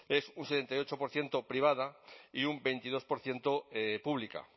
es un sesenta y ocho por ciento privada y un veintidós por ciento pública